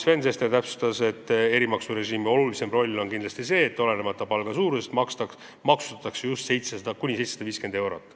Sven Sester täpsustas, et erimaksurežiimi olulisim roll on kindlasti see, et olenemata palga suurusest maksustatakse kuni 750 eurot.